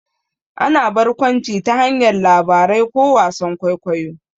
Ana barkwanci ta hanyar labarai ko wasan kwaikwayo.